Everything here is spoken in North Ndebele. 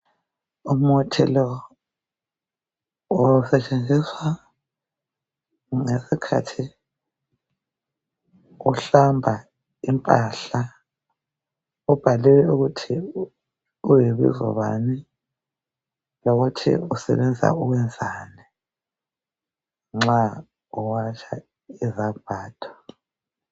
Umuthi lo usetshenziswa ngesikhathi uhlamba impahla ubhaliwe ukuthi uyibizo bani lokuthi usebenza ukwenzani nxa uwatsha izambatho.